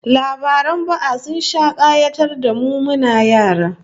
Labaran ba'a sun sha kayatar da mu muna yara